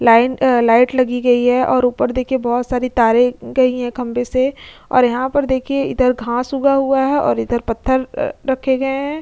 Line अ light लगी गई है और ऊपर देखिए बोहोत सारी तारे न् गई है खंबे से और यहाँ पर देखिए इधर घांस उगा हुआ है और इधर पत्थर अ रखे गए हैं।